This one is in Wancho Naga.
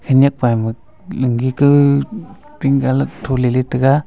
khanyak pa ama lungi kaw pink colour tho ley tai ga.